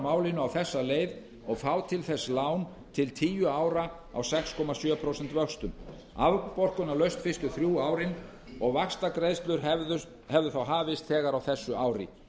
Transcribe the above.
málinu á þessa leið og fá til þess lán til tíu ára á sex komma sjö prósent vöxtum afborgunarlaust fyrstu þrjú árin og vaxtagreiðslur hefðu þá hafist þegar á þessu ári